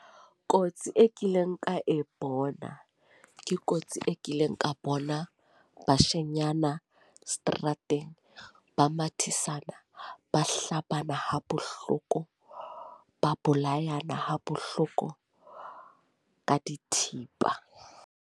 Kotsi e kileng ka e bona ke kotsi e kileng ka bona Bashenyana seterateng ba mathisana, ba hlabana ha bohloko ba bolayana ha bohloko ka dithipa ng?